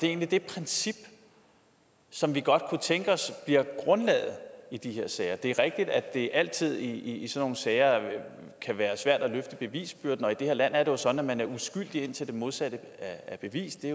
egentlig det princip som vi godt kunne tænke os bliver grundlaget i de her sager det er rigtigt at det altid i sådanne sager kan være svært at løfte bevisbyrden og i det her land er det jo sådan at man er uskyldig indtil det modsatte er bevist det